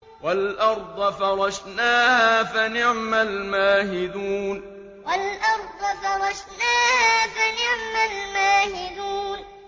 وَالْأَرْضَ فَرَشْنَاهَا فَنِعْمَ الْمَاهِدُونَ وَالْأَرْضَ فَرَشْنَاهَا فَنِعْمَ الْمَاهِدُونَ